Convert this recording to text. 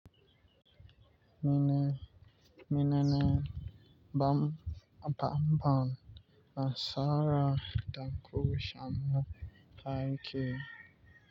Mine, mine ne bam, bam-bam na Sara Dankwisho Amaka Ike.